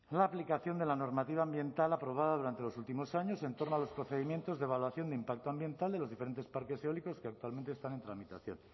la aplicación de la normativa ambiental aprobada durante los últimos años en torno a los procedimientos de evaluación de impacto ambiental de los diferentes parques eólicos que actualmente están en tramitación